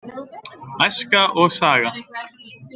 Æska og saga.